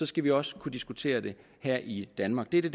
skal vi også kunne diskutere det her i danmark det er det